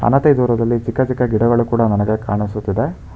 ಹಣತೆ ದೂರದಲ್ಲಿ ಚಿಕ್ಕ ಚಿಕ್ಕ ಗಿಡಗಳು ಕೂಡ ನನಗೆ ಕಾಣಿಸುತ್ತಿದೆ.